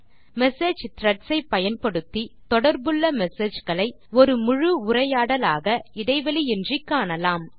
message threads ஐ பயன்படுத்தி தொடர்புள்ள messageகளை ஒரு முழு உரையாடலாக இடைவெளியின்றி காணலாம்